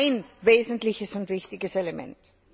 Das ist ein wesentliches und wichtiges Element.